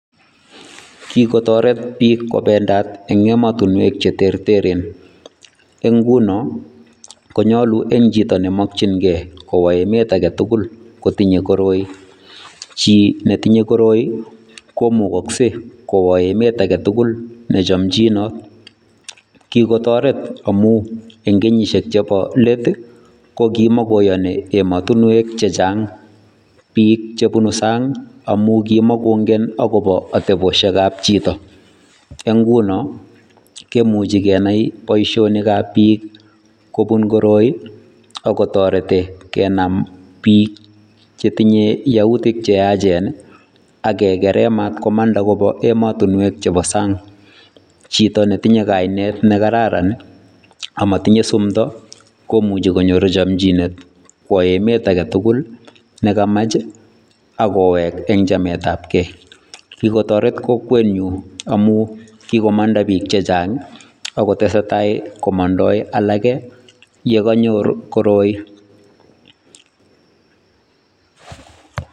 Kikotoret piik kobendat eng emotinwek che terteren, eng nguno konyolu eng chito ne mokchinkei kowo emet age tukul kotinye koroi, chi ne tinye koroi komukokse kowo emet age tugul ne chomchinot. Kikotoret amu eng kenyisiek chebo let ii, ko kimokoyoni emotinwek che chang piik che bunu sang amu kimokongen akobo atebosiekab chito, eng nguno kemuchi kenai boisionikab piik kobun koroi, akotorete kenam piik chetinye yautik che yachen ii, akekere matkomanda koba ematinwek chebo sang, chito ne tinye kainet ne kararan ii amatinye sumdo, komuchi konyoru chamchinet kwo emet age tugul ne kamach ii ak kowek eng chametabgei. Kikiotoret kokwenyu amu kikomanda piik che chang ii akotesetai komondoi alake ye kanyor koroi.